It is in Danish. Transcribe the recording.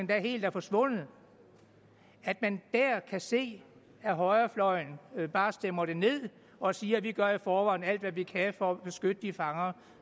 helt er forsvundet at man der kan se at højrefløjen bare stemmer det ned og siger vi gør i forvejen alt hvad vi kan for at beskytte de fanger